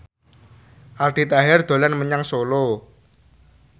Aldi Taher dolan menyang Solo